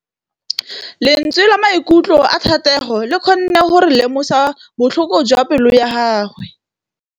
Lentswe la maikutlo a Thategô le kgonne gore re lemosa botlhoko jwa pelô ya gagwe.